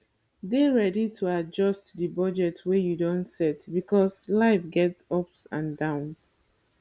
dey ready to adjust di budget wey you don set because life get ups and downs